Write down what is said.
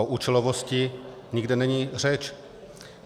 O účelovosti nikde není řeč.